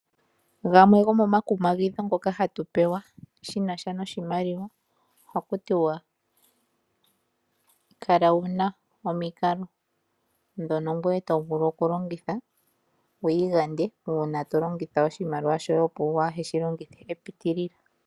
Gamwe gomomakumagidhi ngoka hatu pewa shinasha noshimaliwa ohaku tiwa kala wuna omikalo dhono ngweye tovulu okulongitha wiigande uuna tolongitha oshimaliwa shoye opo waa heshilongithe shapitilila.